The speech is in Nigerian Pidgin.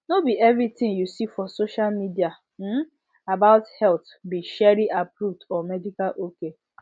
no be every thing you for social media um about health be sherry approved or medical ok